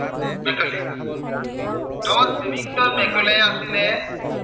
Thomas Babington Macaulay আছিলে